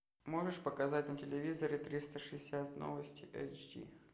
можешь показать на телевизоре триста шестьдесят новости эйч ди